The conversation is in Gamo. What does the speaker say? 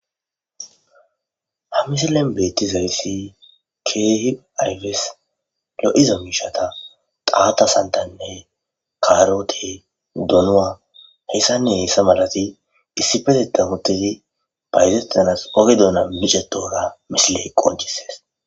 ha misilen beetti zarisi keehi ayfes lo7iza miishata qaata santanne karote donwa heyssanne hessa malati issifete tamutedi baytetanas oge duuna micetora misiley qoncisees